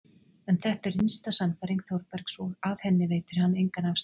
En þetta er innsta sannfæring Þórbergs og af henni veitir hann engan afslátt.